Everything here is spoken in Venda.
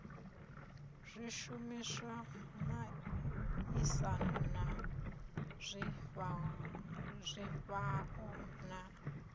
zwishumiswa miaisano na zwifhao na